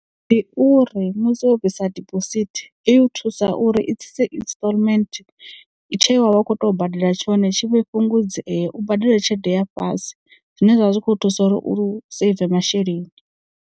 Ndi uri musi wo bvisa diphosithi i u thusa uri i tsitse instalment tshe wa vha u khou tea u badela tshone tshi vhe fhungudze u badela tshelede ya fhasi zwine zwavha zwikho thusa uri uri u seive masheleni.